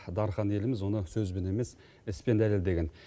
дархан еліміз оны сөзбен емес іспен дәлелдеген